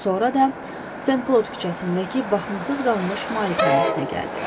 Sonra da Sen-Klod küçəsindəki baxımsız qalmış malikanəsinə gəldi.